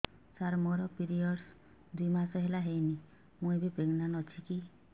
ସାର ମୋର ପିରୀଅଡ଼ସ ଦୁଇ ମାସ ହେଲା ହେଇନି ମୁ ପ୍ରେଗନାଂଟ ଅଛି କି